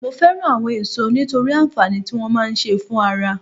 Mo fẹ́ràn àwọn èso nítorí àǹfààní tí wọ́n máa ń ṣe fún ara